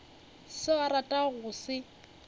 seo a ratago go se